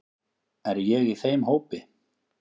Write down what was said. Er ég í þeim hópi.